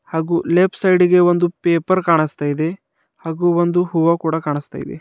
ಹಾಗು left side ಗೆ ಒಂದು ಪೇಪರ್ ಕಾಣಿಸ್ತಾ ಇದೆ ಹಾಗು ಒಂದು ಹೂವ ಕೂಡ ಕಾಣಿಸ್ತಾ ಇದೆ.